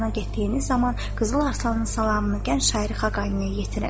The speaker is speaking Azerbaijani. Şirvana getdiyiniz zaman Qızıl Arslanın salamını gənc şairi Xaqaniyə yetirin.